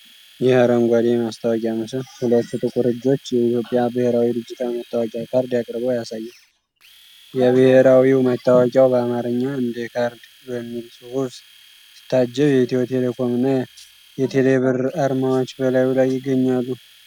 ይህ አረንጓዴ የማስታወቂያ ምስል ሁለት ጥቁር እጆች የኢትዮጵያ ብሔራዊ ዲጂታል መታወቂያ ካርድ አቅርበው ያሳያል። የብሔራዊ መታወቂያው በአማርኛ «እንደ ካርድ» በሚል ጽሑፍ ሲታጀብ፣ የኢትዮ ቴሌኮም እና የቴሌ ብር አርማዎች በላዩ ላይ ይገኛሉ።